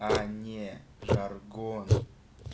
они жаргон